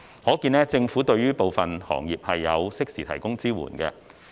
可見，政府對於部分行業有適時提供支援。